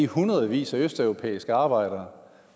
hundredvis af østeuropæiske arbejdere